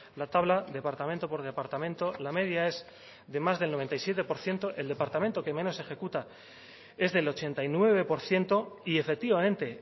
la tabla departamento por departamento la media es de más del noventa y siete por ciento el departamento que menos ejecuta es del ochenta y nueve por ciento y efectivamente